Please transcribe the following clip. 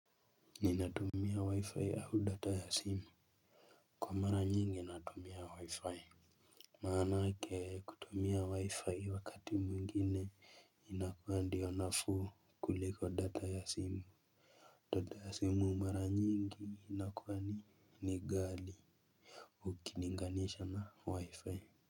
Ni natumia wi-fi ahu data ya simu. Kwa mara nyingi natumia wi-fi. Maanake kutumia wi-fi wakati mwengine inakua ndio nafuu kuliko data ya simu data ya simu mara nyingi inakua ni ni gali. Ukininganisha na wi-fi.